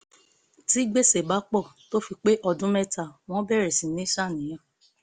tí gbèsè bá pọ̀ tó fi pé ọdún mẹ́ta wọ́n bẹ̀rẹ̀ sí ní ṣàníyàn